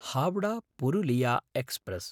हावडा–पुरुलिया express